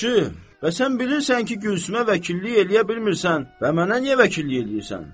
Yaxşı, bəs sən bilirsən ki, Gülsümə vəkillik eləyə bilmirsən və mənə niyə vəkillik eləyirsən?